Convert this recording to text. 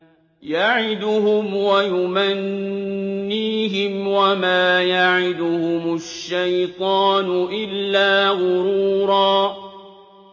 يَعِدُهُمْ وَيُمَنِّيهِمْ ۖ وَمَا يَعِدُهُمُ الشَّيْطَانُ إِلَّا غُرُورًا